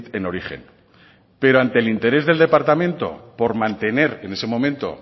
en origen pero ante el interés del departamento por mantener en ese momento